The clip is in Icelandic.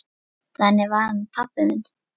Þannig var hann pabbi minn.